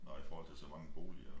Nå i forhold til så mange boliger